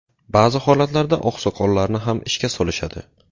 Ba’zi holatlarda oqsoqollarni ham ishga solishadi.